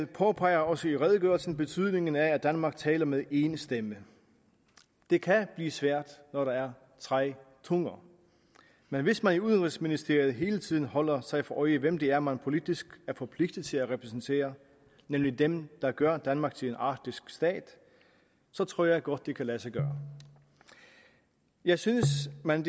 påpeger også i redegørelsen betydningen af at danmark taler med én stemme det kan blive svært når der er tre tunger men hvis man i udenrigsministeriet hele tiden holder sig for øje hvem det er man politisk er forpligtet til at repræsentere nemlig dem der gør danmark til en arktisk stat så tror jeg godt det kan lade sig gøre jeg synes at man